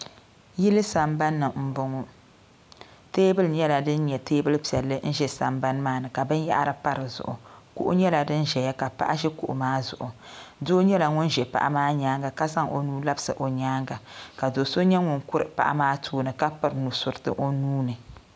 Yili sambani m boŋɔ teebili nyɛla din nyɛ teebuli piɛlli n ʒɛ sambani maani ka binyahiri pa dizuɣu kuɣu nyɛla din ʒɛya ka paɣa ʒi kuɣu maa zuɣu doo nyɛla ŋun ʒɛ paɣa maa nyaanga ka zaŋ o nuu labisi o nyaanga ka do'so nyɛ ŋun kuri paɣa maa tooni ka piri nusuriti o nuuni.